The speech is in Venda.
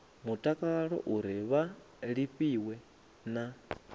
mutakalo uri vha lafhiwe na